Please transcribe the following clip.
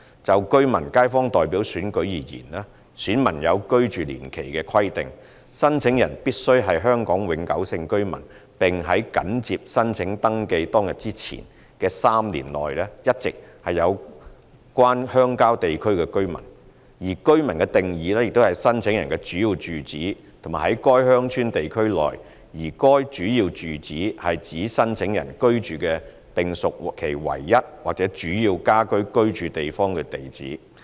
就居民/街坊代表選舉而言，選民有居住年期的規定，申請人必須是香港永久性居民，並在緊接申請登記當日之前的3年內一直是有關鄉郊地區的居民；而"居民"的定義是申請人的主要住址是在該鄉郊地區內，而該主要住址是指申請人居住的並屬其唯一或主要家居居住地方的地址。